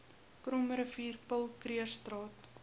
krommerivier paul krugerstraat